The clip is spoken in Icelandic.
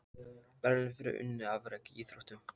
Verðlaun fyrir unnin afrek í íþróttum.